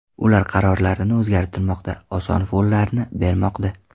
Ular qarorlarini o‘zgartirmoqda, oson follarni bermoqda.